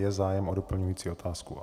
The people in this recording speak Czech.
Je zájem o doplňující otázku?